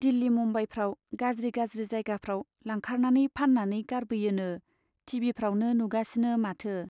दिल्ली मुम्बाइफ्राव , गाज्रि गाज्रि जायगाफ्राव लांखारनानै फान्नानै गारबोयोनो , टि भि फ्रावनो नुगासिनो माथो।